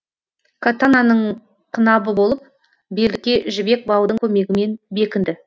катананың қынабы болып белдікке жібек баудың көмегімен бекінді